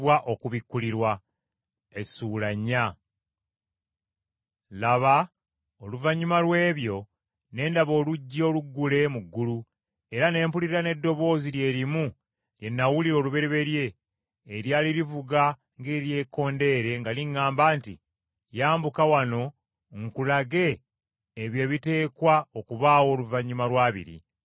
Laba, oluvannyuma lw’ebyo ne ndaba oluggi oluggule mu ggulu, era ne mpulira n’eddoboozi lye limu lye nawulira olubereberye eryali livuga ng’eryekkondere nga liŋŋamba nti, “Yambuka wano nkulage ebyo ebiteekwa okubaawo oluvannyuma lwa biri.”